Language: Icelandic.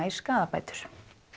í skaðabætur